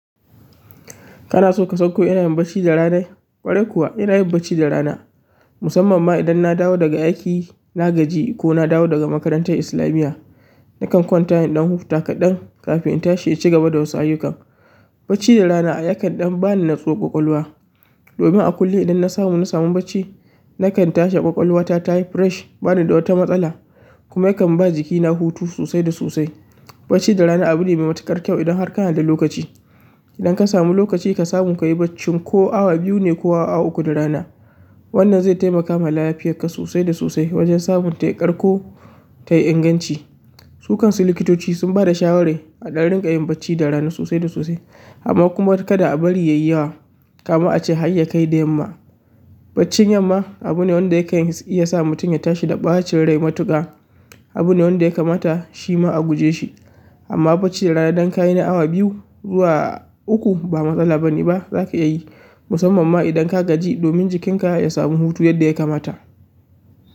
Kana so ka san ko ina yin bacci da rana? Gwarai kuwa ina yin bacci da rana. Musamman ma idan na dawo daga aiki, na gaji ko na dawo daga makarantar islamiyya, nakan kwanta in ɗan huta kaɗan kafin in tashi in cigaba da wasu ayyukan. Bacci da rana a yakan ɗan bani nutsuwar ƙwaƙwalwa. Domin a kullum idan na samu, na samu bacci nakan tashi ƙwaƙwalwa ta tayi fresh, bani da wata matsala kuma yakan ba jikina hutu sosai da sosai. Bacci da rana abu ne mai matuƙar kyau idan har kana da lokaci. Idan ka samu lokaci ka samu ka yi bacci ko awa biyu ne ko awa uku da rana, wannan zai taimaka ma lafiyarka sosai da sosai wajen samun tai ƙarko tai inganci. Su kansu likitoci sun bada shawara a ɗan ringa yin bacci da rana sosai da sosai amma kuma kada a bari yayi yawa. Kama a ce hayyakai da yamma. Baccin yamma abu ne wanda yakan iya sa mutum ya tashi da ɓacin rai matuƙa. Abune wanda ya kamata shima a gujeshi amma bacci da rana dan kayi na awa biyu ko awa uku ba matsala bane ba zaka iya yi musamman ma idan ka gaji domin jikinka ya samu hutu yadda ya kamata.